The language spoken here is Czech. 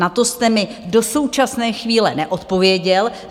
Na to jste mi do současné chvíle neodpověděl.